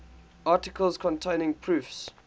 articles containing proofs